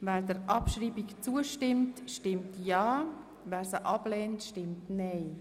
Wer der Abschreibung zustimmt, stimmt ja, wer sie ablehnt, stimmt nein.